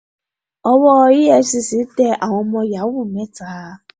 owó efcc tẹ àwọn ọmọ yahoo mẹ́ta